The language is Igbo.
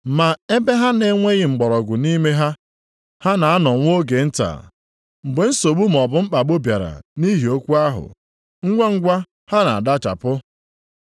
Ma ebe ha na-enweghị mgbọrọgwụ nʼime ha, ha na-anọ nwa oge nta. Mgbe nsogbu maọbụ mkpagbu bịara nʼihi okwu ahụ, ngwangwa ha na-adachapụ. + 4:17 Maọbụ, daa mba